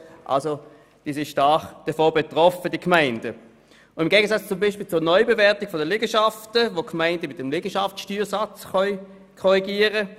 Bei der Gewinnsteuerreduktion können die Gemeinden nichts beeinflussen, wie sie dies beispielsweise bei der Neubewertung der Liegenschaften tun können, indem sie den Liegenschaftssteuersatz korrigieren.